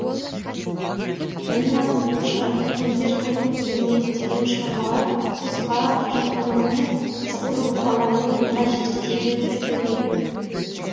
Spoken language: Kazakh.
менің атым қожа өлгендер қайтып келмейді деген шығармалар ұлтқа жақындығымен қызықты оқиғаларымен ойға жетелейді тәрбиелейді